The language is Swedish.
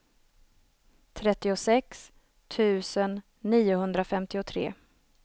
trettiosex tusen niohundrafemtiotre